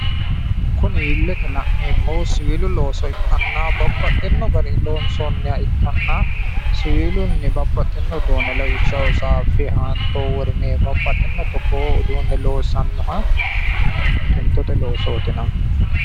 Kuni illete la'neemmohu siwiilu looso ikkanna babbaxxino garinni loonsoonniha ikkanna siwilunni babbaxxino uduunne lawishshaho saaffe, haanto, worime babbaxxino togoo uduunne loosannoha tuntote loosooti yinanni